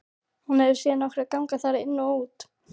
Hún hefur séð nokkra ganga þar inn og út.